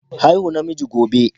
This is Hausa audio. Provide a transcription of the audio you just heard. Haihu namiji gobe.